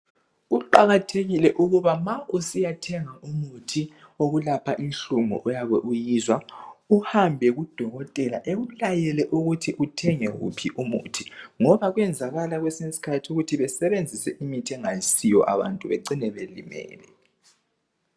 Kuqakathekile ukuba ma usiyathenga umuthi wokulapha inhlungu oyabe uyizwa, uhambe kudokotela ekulayele ukuthi uthenge wuphi umuthi. Ngoba kwenzakala kwesinye isikhathi ukuthi besebenzise imithi engayosiyo abantu bacine belimele